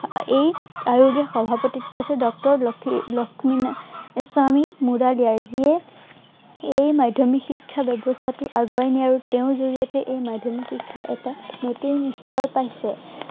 আৰু এই আয়োগৰ সভাপতিত্বত আছিলে ডাক্তৰ লক্ষী~লক্ষ্মীস্বামী । যিয়ে এই মাধ্য়মিক শিক্ষা ব্য়ৱস্থাটো আগুৱাই নিয়ে আৰু তেওঁৰ জৰিয়তে এই মাধ্য়মিক শিক্ষা এটা নতুন স্তৰ পাইছে।